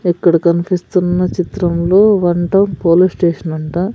ఇక్కడ కనిపిస్తున్న చిత్రంలో వన్ టౌన్ పోలీస్ స్టేషన్ అంట.